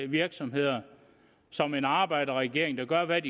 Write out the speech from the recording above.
virksomheder som en arbejderregering der gør hvad